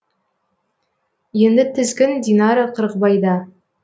енді тізгін динара қырықбайда